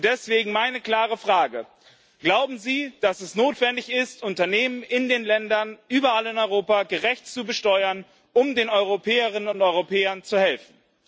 Und deswegen meine klare Frage Glauben Sie, dass es notwendig ist, Unternehmen in den Ländern überall in Europa gerecht zu besteuern, um den Europäerinnen und Europäern zu helfen?